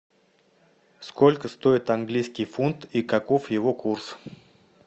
сколько стоит английский фунт и каков его курс